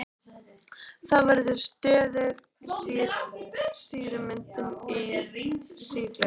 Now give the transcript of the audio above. Þá verður stöðug sýrumyndun í sýklunni.